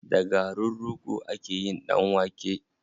Da garin rogo ake yin ɗan wake.